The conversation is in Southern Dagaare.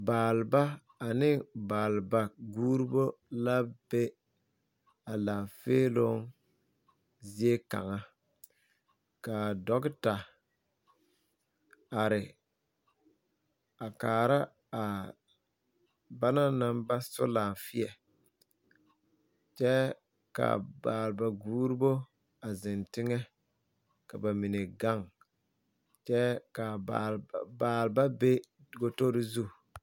Baaleba ane baaleba guuro ba la be a laafeeloo zie kaŋa ka a dɔɔta are a kaara a bana naŋ ba so laafeɛ kyɛ ka a baaleba guurobo a,zeŋ teŋɛ ka ba mine gaŋ kyɛ ka baaleba be gadori zu.